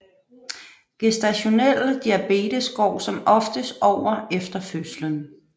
Gestationel diabetes går som oftest over efter fødslen